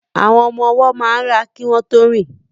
Àwọn ọmọ ọwọ́ máa ń rá kí wọ́n tó rìn